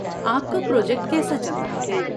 آپ کا پراجیکٹ کیسا چل رہا ہے؟